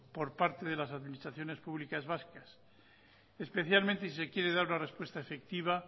por parte de las administraciones públicas vascas especialmente si se quiere dar la respuesta efectiva